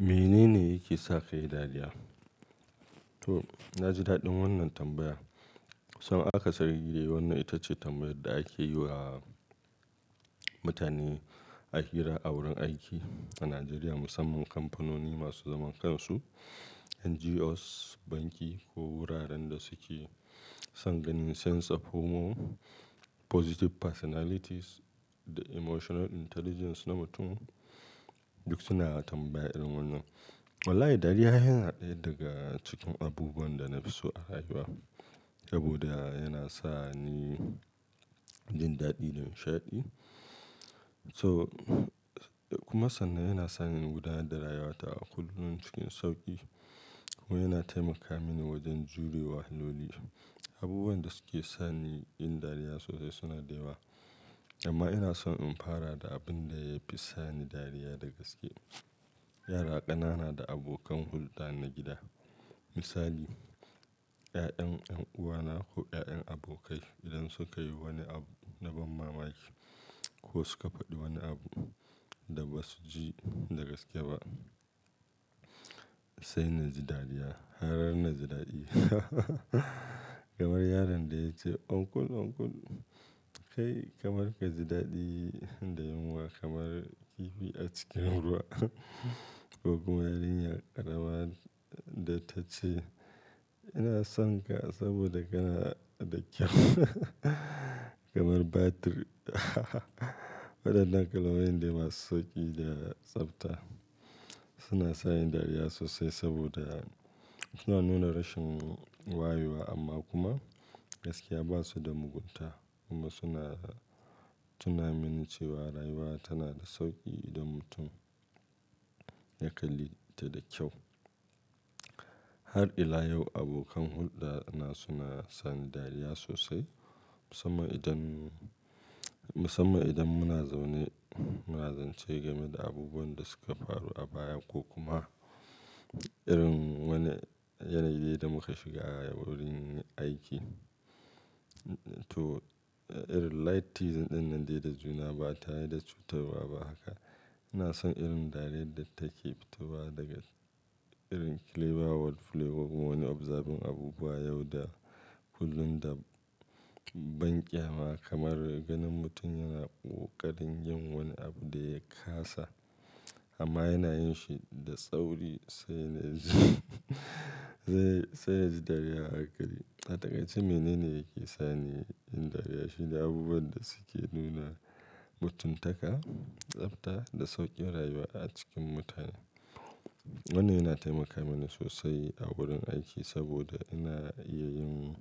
Menene yake sa kayi dariya? To na ji daɗin wannan tambaya. Cabn aka sari de wannan ita ce tambayar da ake yi wa mutane a hira a wurin aiki a Najeriya musamman kampanoni masu zaman kansu, NGOs, banki ko wuraren da suke son ganin sense of humor, positive personalities da emotional intelligence na mutum duk suna tambaya irin wannan. Wallahi dariya ai yana ɗaya daga cikin abubuwan da na fi so a rayuwa. Saboda yana sa ni jin daɗi da nishaɗi. So kuma sannan yana sani in gudanar da rayuwata a kullum cikin sauki kuma yana taimaka mini wajen jure wahaloli. Abubuwan da suke sa ni yin dariya sosai suna da yawa amma ina son in fara da abin da yafi sa ni dariya dagaske. Yara ƙanana da abokan hulɗa na gida. Misali 'ya'yan 'yan uwana ko 'ya'yan abokai idan suka yi wani abu na ban mamaki ko suka faɗi wani abu da basu ji dagaske ba sai naji dariya. Har naji daɗi hahaha kamar yaron daya ce "Uncle, uncle kai kamar kaji daɗi da yunwa kamar kifi a cikin ruwa" ko kuma yarinya ƙarama da ta ce "ina son ka saboda kana da ƙyau kamar batir" waɗannan kalmomin dai masu sauƙi da tsafta suna sa ni dariya sosai saboda suna nuna rashin waye wa amma kuma gaskiya ba su da mugunta kuma suna, suna tuna mini cewa rayuwa tana da sauƙi idan mutum ya kalli ta da kyau. Har ila yau abokan hulɗa na suna sa ni dariya sosai musamman idan, musamman idan muna zaune muna zance game da abubuwan da suka faru a baya ko kuma irin wani yanayi da muka shiga a wurin aiki. To irin light teasing ɗinnan dai da juna ba tare da cutar wa ba haka. Ina son irin dariyar da take fito ba daga irin clever worldplay ko kuma wani observing abubuwa yau da kullum da banƙyama kamar ganin mutum yana ƙoƙarin yin wani abu da ya ƙasa amma yana yin shi da tsauri sai sai, sai yaji dariya a hankali. A taƙaice menene yake sa ni in dariya shine abubuwan da suke nuna mutuntaka, tsafta da sauƙin rayuwa a cikin mutane. Wannan yana taimaka mini sosai a wurin aiki saboda ina iya yin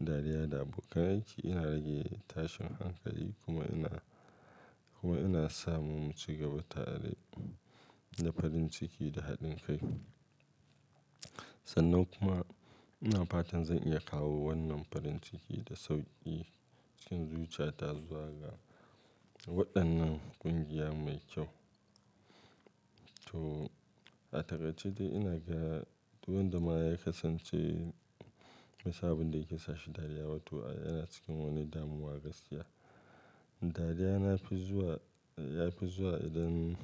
dariya da abokan aiki, ina rage tashin hankali kuma ina, kuma ina samun cigaba tare da farin ciki da haɗin kai. Sannan kuma ina fatan zan iya kawo wannan farin ciki da sauƙi cikin zuciya ta zuwa ga waɗannan ƙungiya mai kyau. To a taƙaice ce dai ina ga duk wanda ma ya kasance bai san abunda yake sa shi dariya ba to yana cikin wani damuwa gaskiya. Dariya na fi zuwa, ya fi zuwa idan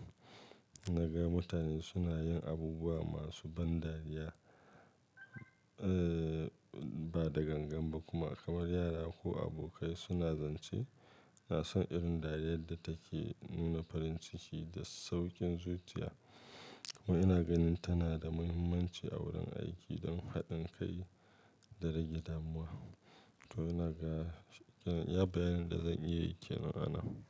naga mutane suna yin abubuwa masu ban dariya, eh ba da gangan ba kuma kamar yara ko abokai suna zance. Ina son irin dariyar da take nuna farin ciki da sauƙin zuciya kuma ina ganin tana da muhimmanci a wurin aiki don haɗin kai da rage damuwa. To ina ga, iya bayanin da zan iya yi kenan anan.